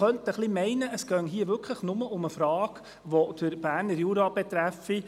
Man könnte fast meinen, es ginge hier tatsächlich nur um eine Frage, die den Berner Jura betreffe.